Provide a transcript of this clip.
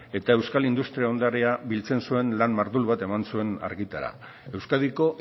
eta euskal industria ondarea biltzen zuen lan mardul bat eman zuen argitara euskadiko